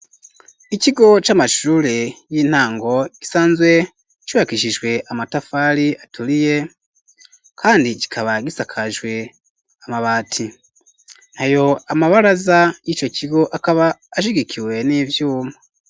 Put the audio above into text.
ikigo c'amashurure y'intango gisanzwe cubakishijwe amatafari aturiye, kandi kikaba gisakajwe amabati, nayo amabaraza y'ico kigo akaba ashigikiwe n'ivyuma.